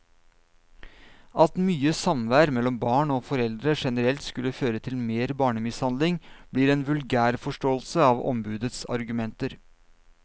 At mye samvær mellom barn og foreldre generelt skulle føre til mer barnemishandling, blir en vulgærforståelse av ombudets argumenter.